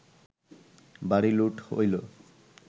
বাড়ি লুট অইল